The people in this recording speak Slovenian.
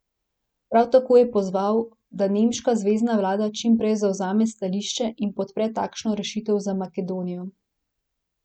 Prav tako je pozval, da nemška zvezna vlada čim prej zavzame stališče in podpre takšno rešitev za Makedonijo.